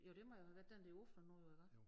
Jo det må jeg jo have været den der åbnet nu jo iggå?